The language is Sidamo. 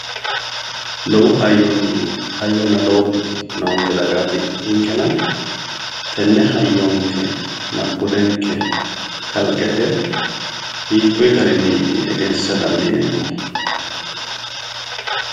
Lowo hayyonna lowo budi noonke dagaati ninkena tenne hayyonkenna budenke kalqete hiikkuyi garinniiti egensiisa dandiineemmohu